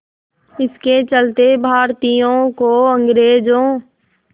इसके चलते भारतीयों को अंग्रेज़ों